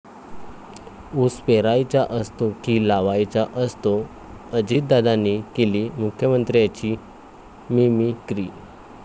ऊस पेरायचा असतो की लावायचा असतो?,अजितदादांनी केली मुख्यमंत्र्यांची मिमिक्री